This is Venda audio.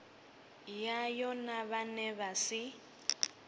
yayo na vhane vha si